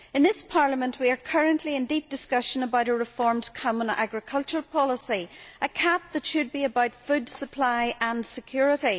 In this Parliament we are currently in deep discussion about a reformed Common Agricultural Policy, a CAP which should be about food supply and security.